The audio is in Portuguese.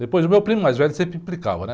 Depois, o meu primo mais velho sempre implicava, né?